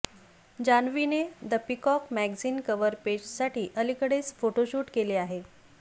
जान्हवीने the peacock magazine कव्हरपेजसाठी अलीकडेच photoshoot केले आहे